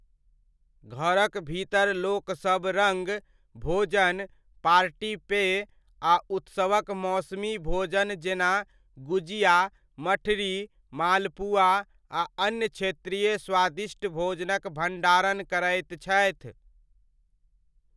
घरक भीतर लोकसब रङ्ग, भोजन, पार्टी पेय आ उत्सवक मौसमी भोजन जेना गुजिया, मठरी, मालपुआ आ अन्य क्षेत्रीय स्वादिष्ट भोजनक भण्डारण करैत छथि।